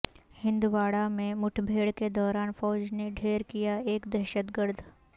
ہندواڑہ میں مڈبھیڑ کے دوران فوج نے ڈھیر کیا ایک دہشت گرد